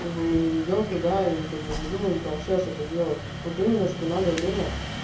как бы мы не идём туда и ни как бы не думаем прямо сейчас это делать вот именно что надо время